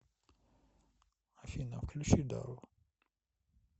афина включи дао